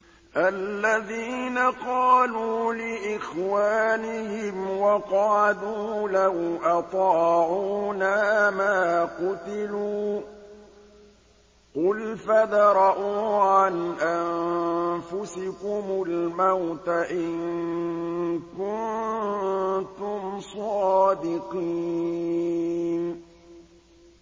الَّذِينَ قَالُوا لِإِخْوَانِهِمْ وَقَعَدُوا لَوْ أَطَاعُونَا مَا قُتِلُوا ۗ قُلْ فَادْرَءُوا عَنْ أَنفُسِكُمُ الْمَوْتَ إِن كُنتُمْ صَادِقِينَ